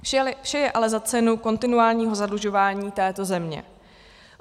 Vše je ale za cenu kontinuálního zadlužování této země.